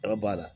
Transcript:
Dɔ b'a la